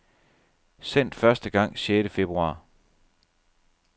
Sendt første gang sjette februar.